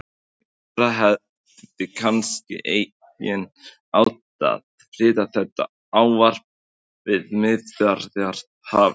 Ráðherra hefði kannski einnig átt að flytja þetta ávarp við Miðjarðarhafið?